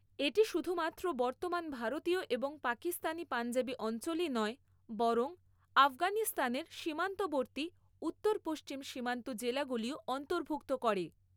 এটি শুধুমাত্র বর্তমান ভারতীয় এবং পাকিস্তানি পঞ্জাবি অঞ্চলই নয় বরং আফগানিস্তানের সীমান্তবর্তী উত্তর পশ্চিম সীমান্ত জেলাগুলিও অন্তর্ভুক্ত করে।